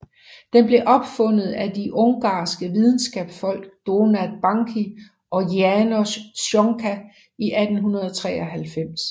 Den blev opfundet af de ungarske videnskabsfolk Donát Bánki og János Csonka i 1893